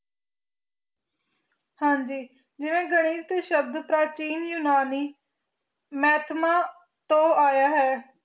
ਹਨ ਜੀ ਜੇਯਰਾ ਗਣਿਤ ਟੀ ਸ਼ਬ ਪਰ ਚੀਨ ਜੁਨਾਨੀ ਮਹ੍ਤਾਮਾ ਤੋ ਯਾ ਹੈ